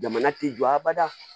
Jamana ti jɔ abada